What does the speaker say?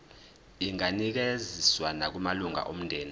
inganikezswa nakumalunga omndeni